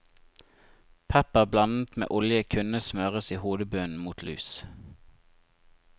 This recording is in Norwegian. Pepper blandet med olje kunne smøres i hodebunnen mot lus.